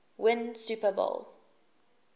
win super bowl